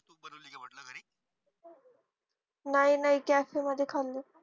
नाही नाही cafe मध्ये खाल्ले